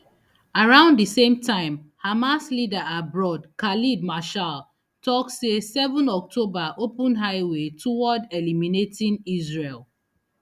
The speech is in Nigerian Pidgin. around di same time hamas leader abroad khaled mashaal tok say seven october open highway toward eliminating israel